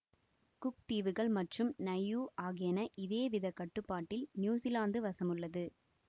cook தீவுகள் மற்றும் Niue ஆகியன இதே வித கட்டுப்பாடில் நியுஸிலாந்து வசமுள்ளது